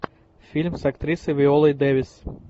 фильм с актрисой виолой дэвис